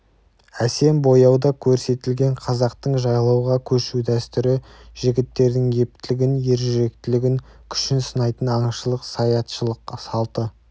әсем бояуда көрсетілген қазақтың жайлауға көшу дәстүрі жігіттердің ептілігін ержүректілігін күшін сынайтын аңшылық саятшылық салты